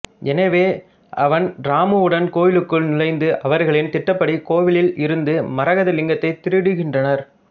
எனவே அவன் இராமுடன் கோவிலுக்குள் நுழைந்து அவர்களின் திட்டப்படி கோவிலில் இருந்து மரகத லிங்கத்தை திருடுகின்றனர்